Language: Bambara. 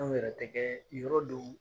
Anw yɛrɛ tɛ kɛ yɔrɔ dɔw